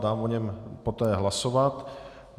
Dám o něm poté hlasovat.